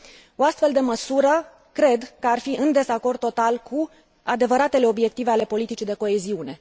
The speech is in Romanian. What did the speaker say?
O astfel de măsură cred că ar fi în dezacord total cu adevăratele obiective ale politicii de coeziune.